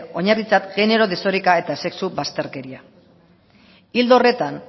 oinarritzat genero desoreka eta sexu bazterkeria ildo horretan